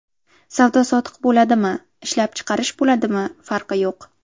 Savdo-sotiq bo‘ladimi, ishlab chiqarish bo‘ladimi, farqi yo‘q.